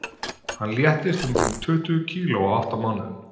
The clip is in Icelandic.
Hann léttist um rúm tuttugu kíló á átta mánuðum.